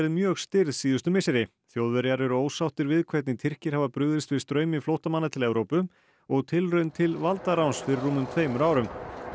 mjög stirð síðustu misseri Þjóðverjar eru ósáttir við hvernig Tyrkir hafa brugðist við straumi flóttamanna til Evrópu og tilraun til valdaráns fyrir rúmum tveimur árum